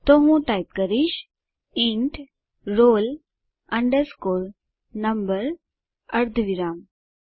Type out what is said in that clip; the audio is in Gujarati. તો હું ટાઈપ કરીશ ઇન્ટ રોલ અંડરસ્કોર નંબર અર્ધવિરામ